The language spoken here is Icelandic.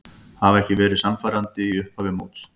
Hafa ekki verið sannfærandi í upphafi móts.